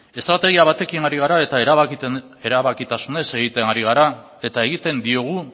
estrategia batekin ari gara eta erabakitasunez egiten ari gara eta egiten diogu